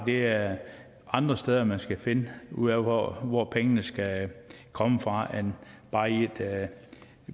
det er andre steder man skal finde ud af hvor hvor pengene skal komme fra end bare i et